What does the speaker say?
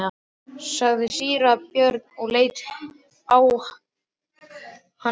sagði síra Björn og leit á hann hissa.